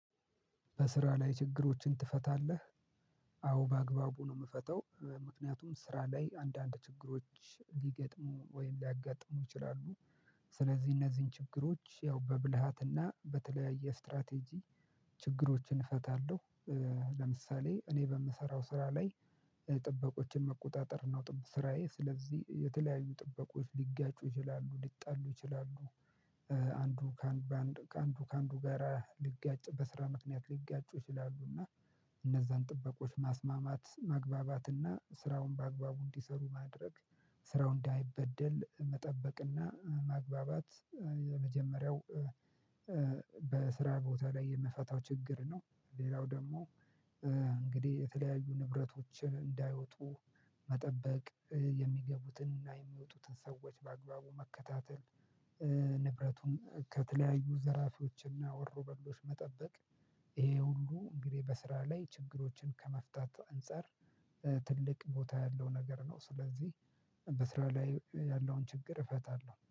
በስራ ላይ ችግሮችን ትፈታለህ? አዎ በአግባቡ ነው ምፈተው ምክንያቱም ስራ ላይ አንዳንድ ችግሮች ሊገጥሙ ወይም ሊያጋጥሙ ይችላሉ። ስለዚህ እነዚህን ችግሮች ያው በብልሃትና በተለያየ ስትራቴጂ ችግሮችን እፈታለሁ። ለምሳሌ እኔ በምሰራው ስራ ላይ። ጥበቆችን መቆጣጠር ነው ስራዬ ስለዚህ የተለያዩ ጥበቆች ሊጋጩ ይችላሉ ሊጣሉ ይችላሉ። አንዱ ከአንዱ ከአንዱ ጋራ ሊጋጩ በስራ ምክንያት ሊጋጩ ይችላሉ እና። እነዛን ጥበቆች ማስማማት ማግባባት እና ስራውን በአግባቡ እንዲሰሩ ማድረግ። ስራው እንዳይበደል መጠበቅና ማግባባት። የመጀመሪያው በስራ ቦታ ላይ የምፈታው ችግር ነው። ሌላው ደግሞ። እንግዲህ የተለያዩ ንብረቶች እንዳይወጡ መጠበቅ። የሚገቡትን እና የሚወጡትን ሰዎች በአግባቡ መከታተል። ንብረቱን ከተለያዩ ዘራፊዎችና ወሮ በሎች መጠበቅ። ይሄ ሁሉ እንግዲህ በስራ ላይ ችግሮችን ከመፍታት አንፃር ትልቅ ቦታ ያለው ነገር ነው። ስለዚህ በስራው ላይ ያለውን ችግር እፈታለሁ